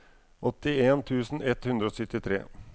åttien tusen ett hundre og syttitre